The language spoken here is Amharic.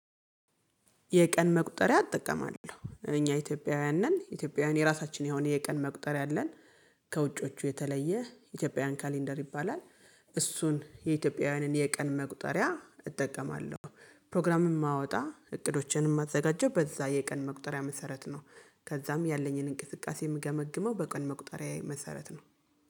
የቀን መቁጠሪያ እጠቀማለው። እኛ ኢትዮጵያዊያን ነን ኢትዮጵያዊያን የራሳችን የሆነ የቀን መቁጠሪያ አለን ከውጪዎቹ የተለየ ኢትያጵያዊያን ካላንደር ይባላል። እሱን የኢትዮጵያውያንን የቀን መቁጠሪያ እጠቀማለሁ። ፕሮግራምም እማወጣ እቅዶቼንም ማዘጋጀው በዛ የቀን መቁጠሪያ መሰረት ነው። ከዛም ያለኝን እንቅስቃሴ የምገመግመው በቀን መቁጠሪያዬ መሰረት ነው።